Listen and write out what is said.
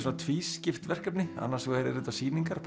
tvískipt verkefni annars vegar eru sýningar